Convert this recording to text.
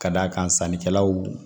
Ka d'a kan sannikɛlaw